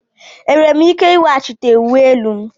Enwere m ike ị nwetaghachi uwe elu m?